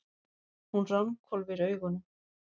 Hún ranghvolfir augunum.